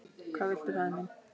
Hvað viltu faðir minn?